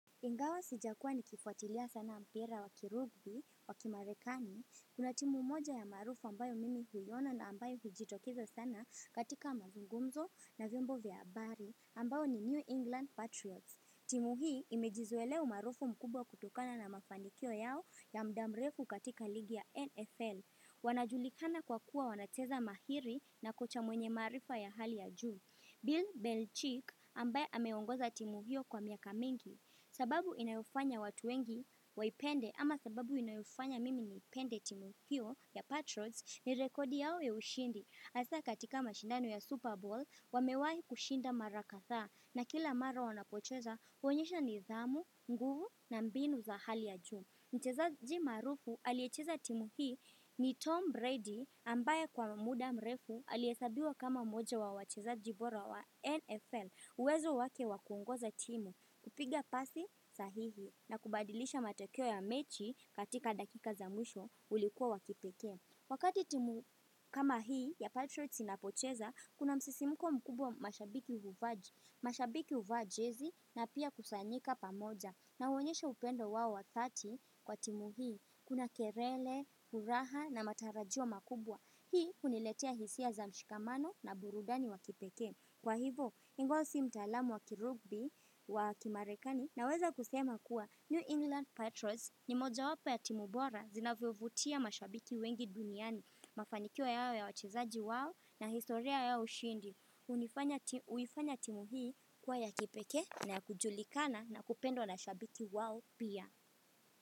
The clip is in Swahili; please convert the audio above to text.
Ingawa sijakuwa nikifuatilia sana mpira wa kirugbi, wa kimarekani, kuna timu moja ya maarufu ambayo mimi huiona na ambayo hujitokeza sana katika mazungumzo na vyombo vya habari ambayo ni New England Patriots. Timu hii imejizoelea maarufu mkubwa kutokana na mafanikio yao ya muda mrefu katika ligi ya NFL. Wanajulikana kwa kuwa wanacheza mahiri na kocha mwenye maarifa ya hali ya juu. Bill Belchick ambaye ameongoza timu hiyo kwa miaka mingi. Sababu inayofanya watu wengi waipende ama sababu inayofanya mimi niipende timu hiyo ya Patrods ni rekodi yao ya ushindi. Hasa katika mashindano ya Super Bowl wamewahi kushinda mara kadhaa na kila mara wanapocheza, huonyesha nidhamu, nguvu na mbinu za hali ya juu. Mchezaji maarufu aliyecheza timu hii ni Tom Brady ambaye kwa muda mrefu alihesabiwa kama mmoja wa wachezaji bora wa NFL, uwezo wake wa kuongoza timu. Kupiga pasi sahihi na kubadilisha matokeo ya mechi katika dakika za mwisho ulikuwa wa kipekee. Wakati timu kama hii ya Patriots inapocheza, kuna msisimuko mkubwa mashabiki huvaa, mashabiki huvaa jezi na pia kusanyika pamoja. Na huonyesha upendo wao wa dhati kwa timu hii, kuna kelele, furaha na matarajio makubwa. Hii huniletea hisia za mshikamano na burudani wa kipekee. Kwa hivo, ingawa si mtaalamu wa kirugbi wa kimarekani, naweza kusema kuwa New England Patriots ni moja wapo ya timu bora zinavyovutia mashabiki wengi duniani. Mafanikio yao ya wachezaji wao, na historia ya ushindi. Huifanya timu hii kuwa ya kipekee na ya kujulikana na kupendwa na mashabiki wao pia.